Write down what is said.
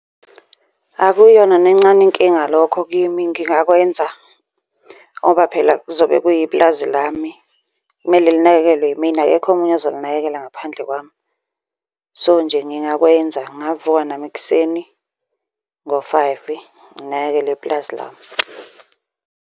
Akuyona nencane inkinga lokho kimi, ngingakwenza, ngoba phela kuzobe kuyipulazi lami. Kumele linakekelwe yimina akekho omunye ozolinakekela ngaphandle kwami. So, nje ngingakwenza, ngingavuka nami ekuseni ngo-five nginakekele ipulazi lami.